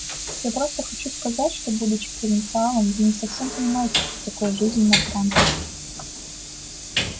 я просто хочу сказать что будучи провинциалом вы не совсем понимаете что такое жизнь на транторе